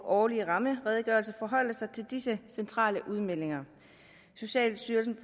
årlige rammeredegørelser forholde sig til disse centrale udmeldinger socialstyrelsen